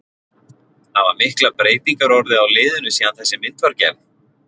Hafa miklar breytingar orðið á liðinu síðan þessi mynd var gerð?